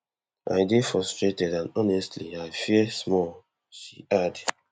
i dey frustrated and honestly i fear small she add